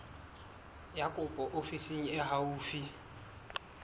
ya kopo ofising e haufi